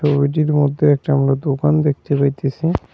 ছবিটির মধ্যে একটা আমরা দোকান দেখতে পাইতেসি।